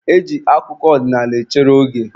E ji akụkọ ọdịnaala echere oge.